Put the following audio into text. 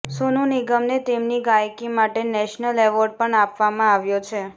સોનુ નિગમને તેમની ગાયકી માટે નેશનલ એવોર્ડ પણ આપવામાં આવ્યો છે